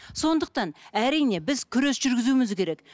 сондықтан әрине біз күрес жүргізуіміз керек